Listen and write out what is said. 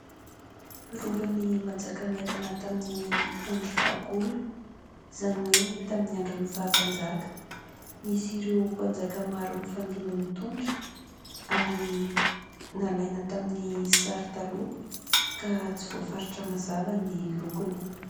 Rovan'ny Manjakamiadana tamin'ny andro fahagola (zany hoe tamin'ny andron'ny faha-mpanjaka). Nisy ireo mpanjaka maro nifandimby nitondra, ary nalaina tamin'ny sary taloha ka tsy voafaritra mazava ny lokony.